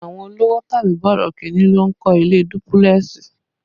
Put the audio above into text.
Àwọn olówò tàbí borokinni ló ń kọ́ ilé dúpílẹ̀sì